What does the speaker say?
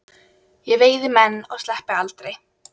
Ég veiði menn og sleppi aldrei.